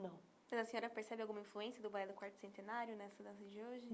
não Mas a senhora já percebeu alguma influência do balé do quarto centenário nessa dança de hoje?